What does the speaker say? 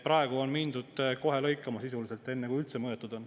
Praegu on mindud kohe lõikama sisuliselt, enne kui üldse mõõdetud on.